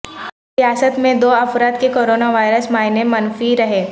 ریاست میں دو افراد کے کورونا وائرس معائنے منفی رہے